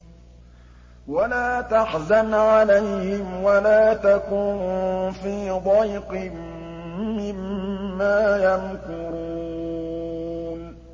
وَلَا تَحْزَنْ عَلَيْهِمْ وَلَا تَكُن فِي ضَيْقٍ مِّمَّا يَمْكُرُونَ